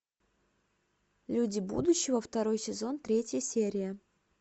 люди будущего второй сезон третья серия